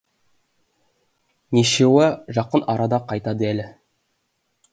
нешеуа жақын арада қайтады әлі